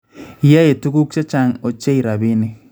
Yaey tukuuk chechang� ochei rapiinik